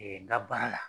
n ka baara la